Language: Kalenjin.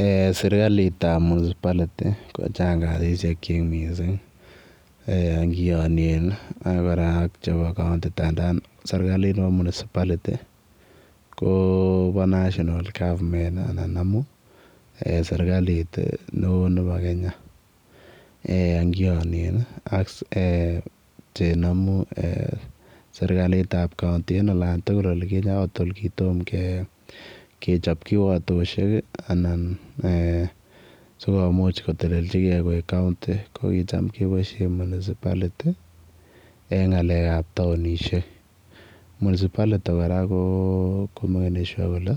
Eeh serikaliit ab [municipality] ko chaang kasisiek ingianien ak chebo [county] ndandaan serikaliit nebo [municipality] ko bo [national government] anan ndamuun serikaliit ne oo nebo Kenya kiaanien ne ndamuun serikaliit ab [county] kotoon kechaap kiwatosiek anan sikomuuch ko tolelejigei ko kuchaam kebaisheen munisability eng ngalek ab taunisheek [municipality] kora ko makenin sure kole